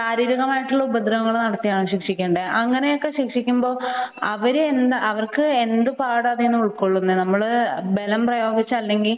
ശാരീരികമായിട്ടുള്ള ഉപദ്രവങ്ങൾ നടത്തിയാണോ ശിക്ഷിക്കേണ്ടത് അങ്ങനെയൊക്കെ ശിക്ഷിക്കുമ്പോൾ അവര് അവർക്ക് എന്ത് പാഠമാണ് അതിൽ നിന്ന് ഉൾക്കൊള്ളാൻ പറ്റുന്നത് . ബലം പ്രയോഗിച്ചു അല്ലെങ്കിൽ